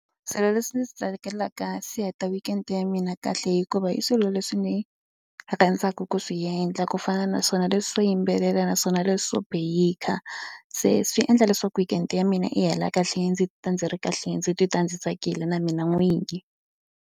Swilo leswi ndzi swi tsakelaka swi heta weekend ya mina kahle hikuva hi swilo leswi ni rhandzaka ku swi endla ku fana naswona leswi swo yimbelela naswona leswo bake se swi endla leswaku weekend ya mina yi hela kahle ndzi titwa ndzi ri kahle ndzi titwa ndzi tsakile na mina n'winyi.